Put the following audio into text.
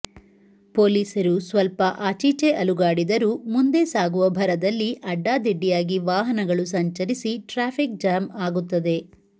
ಪೊಲೀಸರು ಸ್ವಲ್ಪ ಆಚೀಚೆ ಅಲುಗಾಡಿದರೂ ಮುಂದೆ ಸಾಗುವ ಭರದಲ್ಲಿ ಅಡ್ಡಾದಿಡ್ಡಿಯಾಗಿ ವಾಹನಗಳು ಸಂಚರಿಸಿ ಟ್ರಾಫಿಕ್ ಜಾಮ್ ಆಗುತ್ತದೆ